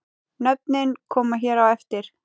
Nöfnin koma hér á eftir.